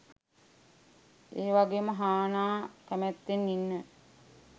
එවගේම හානා කැමැත්තෙන් ඉන්න